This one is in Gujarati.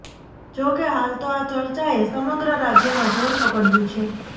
જોકે હાલ તો આ ચર્ચાએ સમગ્ર રાજ્યમાં જોર પકડ્યુ છે